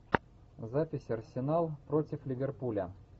запись арсенал против ливерпуля